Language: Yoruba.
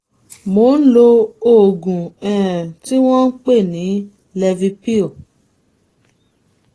mò ń lo oògùn um tí wọ́n ń pè ní cs] levipil